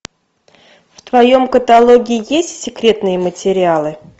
в твоем каталоге есть секретные материалы